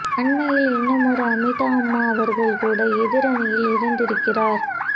அண்மையில் இன்னுமொரு அமீதா அம்மா அவர்கள் கூட எதிர் அணியில் இணைந்திருக்கிறார்